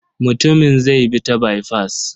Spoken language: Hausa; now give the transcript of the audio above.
Mutumin zai bi ta baifas.